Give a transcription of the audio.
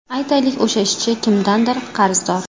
Aytaylik, o‘sha ishchi kimdandir qarzdor.